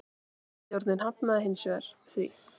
Stjórnin hafnaði hins vegar því.